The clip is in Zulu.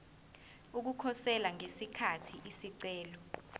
ukukhosela ngesikhathi isicelo